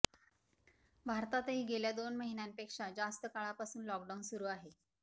भारतातही गेल्या दोन महिन्यांपेक्षा जास्त काळापासून लॉकडाऊन सुरू आहे